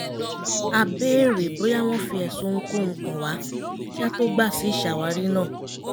a bèèrè bóyá wọ́n fi ẹ̀sùn ohunkóhun kàn wá kí á tó gbà sí ìṣàwárí náà